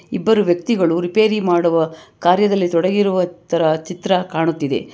ಇಬ್ಬರು ವ್ಯಕ್ತಿಗಳು ರಿಪೇರಿ ಮಾಡುವ ಕಾರ್ಯದಲ್ಲಿ ತೊಡಗಿರುವ ತರ ಚಿತ್ರ ಕಾಣುತ್ತಿದೆ.